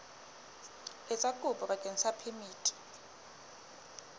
etsa kopo bakeng sa phemiti